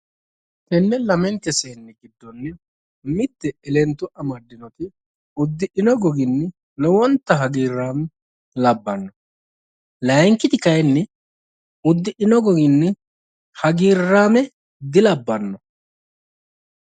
Tenne lamente seenni giddonni mitte elento amaddinoti uddidhino goginni lowonta hagiirraame labbanno layiinkiti kayinni yddidhino goginni hagiirraame dilabbanno